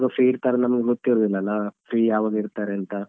Free ಇರ್ತಾರಂತ ನಮ್ಗೆ ಗೊತಿರುದಿಲ್ಲಲ್ಲ free ಯಾವಾಗ ಇರ್ತರಂತ.